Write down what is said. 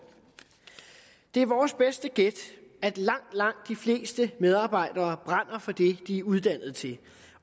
det er vores bedste gæt at langt langt de fleste medarbejdere brænder for det de er uddannet til